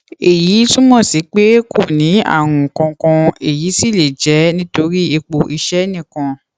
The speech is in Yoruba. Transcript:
èyí túmọ sí pé kò ní àrùn kankan èyí sì lè jẹ nítorí ipò iṣẹ nìkan